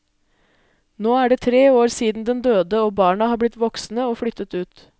Nå er det tre år siden den døde og barna har blitt voksne og flyttet ut.